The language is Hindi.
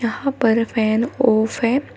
यहां पर फैन ऑफ है।